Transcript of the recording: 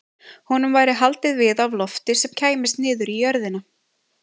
Honum væri haldið við af lofti sem kæmist niður í jörðina.